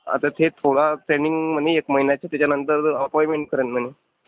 आता ते थोडा ट्रेनिंग म्हणे एक महिन्याची त्याच्यानंतर अपॉइंटमेंट करेल म्हणे.